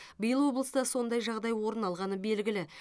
биыл облыста сондай жағдай орын алғаны белгілі